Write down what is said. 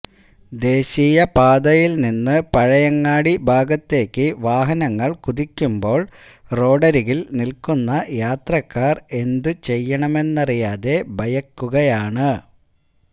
ദേശീയപാതയിൽനിന്ന് പഴയങ്ങാടി ഭാഗത്തേക്ക് വാഹനങ്ങൾ കുതിക്കുമ്പോൾ റോഡരികിൽ നിൽക്കുന്ന യാത്രക്കാർ എന്തുചെയ്യണമെന്നറിയാതെ ഭയക്കുകയാണ്